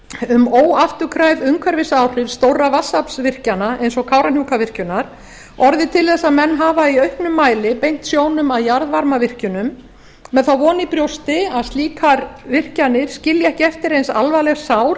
um óafturkræf umhverfisáhrif stórra vatnsaflsvirkjana eins og kárahnjúkavirkjunar orðið til þess að menn hafa í auknum mæli beint sjónum að jarðvarmavirkjunum með þá von í brjósti að slíkar virkjanir skilja ekki eftir eins alvarleg sár